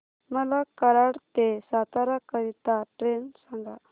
मला कराड ते सातारा करीता ट्रेन सांगा